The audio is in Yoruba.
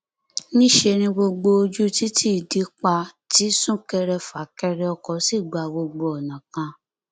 níṣẹ ni gbogbo ojú títí di pa tí súnkẹrẹfàkẹrẹ ọkọ sì gba gbogbo ọnà kan